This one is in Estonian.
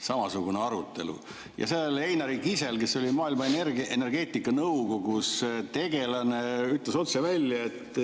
samasugune arutelu ja seal Einari Kisel, kes oli Maailma Energeetikanõukogus tegelane, ütles otse välja, et